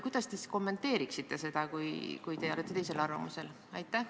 Kuidas te seda kommenteeriksite, kui te olete teisel arvamusel?